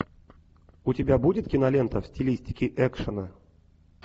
у тебя будет кинолента в стилистике экшена